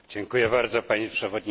Panie Przewodniczący!